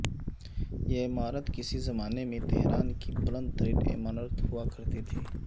یہ عمارت کسی زمانے میں تہران کی بلند ترین عمارت ہوا کرتی تھی